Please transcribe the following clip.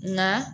Nka